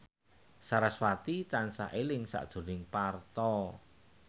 sarasvati tansah eling sakjroning Parto